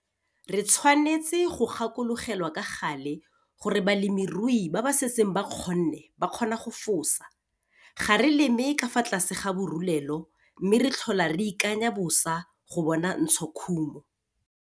Re tshwanetse go gakologelwa ka gale gore le balemirui ba ba setseng ba kgonne ba kgona go fosa - ga re leme ka fa tlase ga borulelo mme re tlhola re ikanya bosa go bona ntshokhumo.